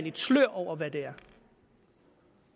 et slør over hvad det er